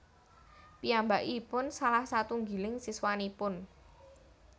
Piyambakipun salah satunggiling siswanipun